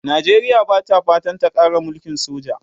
Najeriya Bata fatan ta Kara mulkin soja